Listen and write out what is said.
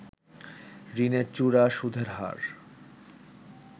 ঋণের চড়া সুদের হার